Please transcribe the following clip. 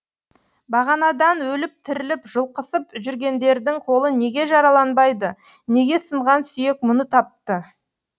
бағанадан өліп тіріліп жұлқысып жүргендердің қолы неге жараланбайды неге сынған сүйек мұны тапты